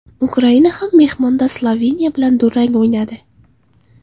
Ukraina ham mehmonda Sloveniya bilan durang o‘ynadi.